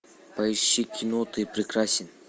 поищи кино ты прекрасен